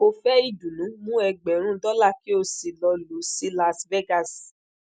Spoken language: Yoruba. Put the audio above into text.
o fe idunnu mu egberin dola ki o si lo lo si las vegas